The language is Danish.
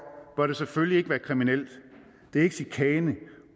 bør det selvfølgelig ikke være kriminelt det er ikke chikane